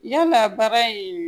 Yalaa baara in